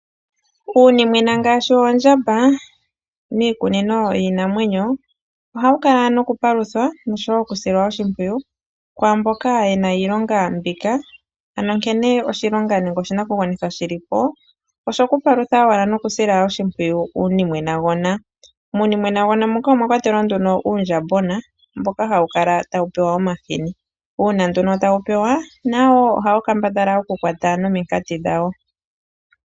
Uunimwena ngaashi Oondjamba mikunino yinamwenyo oha wu Kala nokupaluthwa oshowo okusilwa oshipwiyu kwamboka yena iilonga mbika ano nkene oshilonga nenge oshinakugwanithwa shili po osho kupulutha wala nokusila oshipwiyu iinimwenagona, muunimwenagona moka omwakwa telwa nduno uundjambona mbo hawu Kala tawupewa omahini uuna nduno tawu pewa nawoo ohawu kambadhala oku kwata nominkati dhawo.